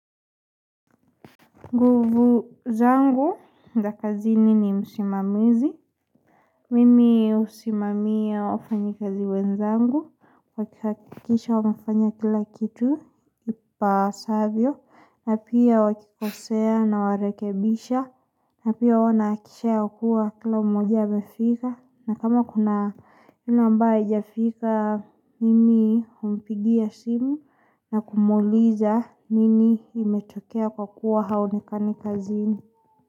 Nguvu zangu, za kazini ni msimamizi. Mimi husimamia wafanyi kazi wenzangu. Kwa kuhakikisha wamefanya kila kitu, ipasavyo, na pia wakikosea na warekebisha. Na pia huwa nahakikisha ya kuwa kila mmoja amefika. Na kama kuna yule ambaye hajafika, mimi humpigia simu na kumuuliza nini imetokea kwa kuwa haonekani kazi.